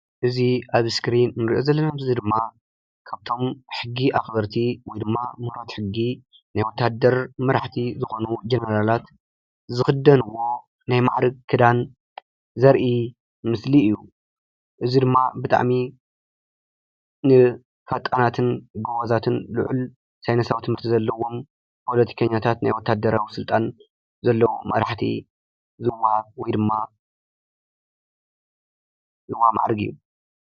እዚ ኣብ እስክሪን እንሪኦ ዘለና ምስሊ ድማ ካብቶም ሕጊ ኣኽበርቲ ወይ ድማ ምሁራት ሕጊ ናይ ወታደር መራሕቲ ዝኾኑ ጀነራላት ዝኽደንዎ ናይ ማዕርግ ክዳን ዘርኢ ምስሊ እዩ፡፡ እዚ ድማ ብጣዕሚ ንፈጣናትን ጎበዛትን ልዑል ሳይነሳዊ ትምህርቲ ዘለዎም ፖለቲከኛታት ናይ ወታደራዊ ስልጣን ዘለዎም መራሕቲ ዝወሃብ ወይ ድማ ዝወሃብ ማዕርግ እዩ፡፡